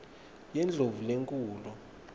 yendlovulenkhulu